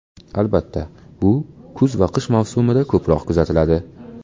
Albatta, bu kuz va qish mavsumida ko‘proq kuzatiladi.